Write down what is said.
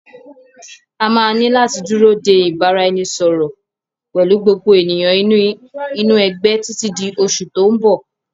A máa ní láti dúró de ìbáraẹnisọọ̀rọ̀ pẹ̀lú gbogbo ènìyàn inú ẹgbẹ́ títí di oṣù tòun bọ̀.